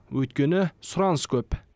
өйткені сұраныс көп